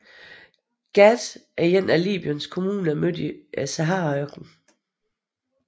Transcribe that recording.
Ghat er en af Libyens kommuner midt i Saharaørknen